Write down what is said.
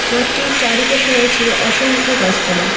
মাঠটির চারিপাশে রয়েছে অসংখ্য গাছপালা।